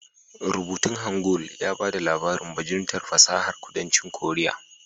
Rubutun Hangul ya ba da labarin bajintar fasahar kudancin korea